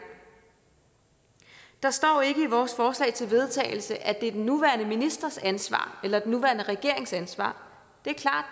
der står ikke i vores forslag til vedtagelse at det er den nuværende ministers ansvar eller den nuværende regerings ansvar det